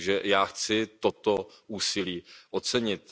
Já chci toto úsilí ocenit.